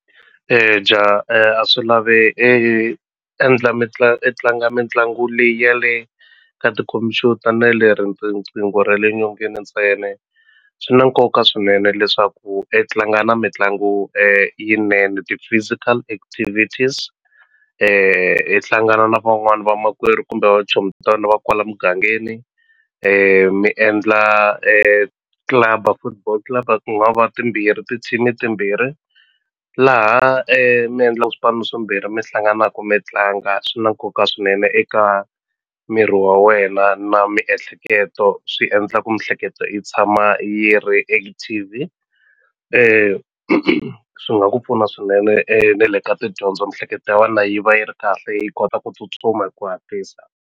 a swi lavi endla i tlanga mitlangu leyi ya le ka tikhompyuta na le riqingho ra le nyongeni ntsena swi na nkoka swinene leswaku i tlanga na mitlangu yinene ti-physical activities i hlangana na van'wani va makwerhu kumbe chomi ta wena va kwala mugangeni mi endla club-a football club ku nga va timbirhi ti-team-i timbirhi laha mi endlaku swipano swimbirhi mi hlanganaku mi tlanga swi na nkoka swinene eka miri wa wena na miehleketo swi endla ku mihleketo yi tshama yi ri active swi nga ku pfuna swinene na le ka tidyondzo mihleketo ya wena yi va yi ri kahle yi kota ku tsutsuma hi ku hatlisa.